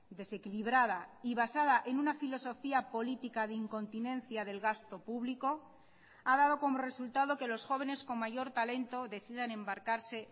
desequilibrada y basada en una filosofía política de incontinencia del gasto público ha dado como resultado que los jóvenes con mayor talento decidan embarcarse